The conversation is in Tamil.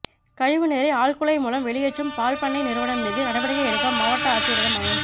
கழிவு நீரை ஆழ்குழாய் மூலம் வெளியேற்றும் பால் பண்ணை நிறுவனம் மீது நடவடிக்கை எடுக்க மாவட்ட ஆட்சியரிடம் மனு